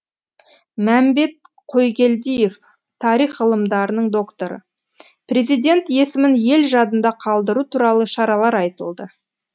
мәмбет қойгелдиев тарих ғылымдарының докторы президент есімін ел жадында қалдыру туралы шаралар айтылды